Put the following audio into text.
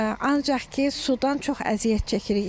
Ancaq ki, sudan çox əziyyət çəkirik.